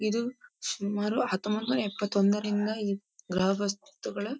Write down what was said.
ಇದು ಸುಮಾರು ಹತ್ತಹೊಂಬನೂರ್ ಎಪ್ಪಂತೊಂದರೊಂದ ಗ್ರಹ ವಸ್ತುಗಳ --